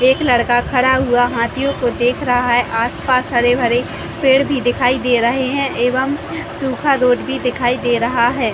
एक लड़का खड़ा हुआ हाँथियो को देख रहा है आसपास हरे-भरे पेड़ दिखाई दे रहे है एवं सूखा डोज़ भी दिखाई दे रहा है